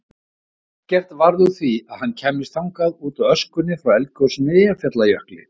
Ekkert varð úr því að hann kæmist þangað útaf öskunni frá eldgosinu í Eyjafjallajökli.